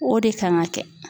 O de kan ka kɛ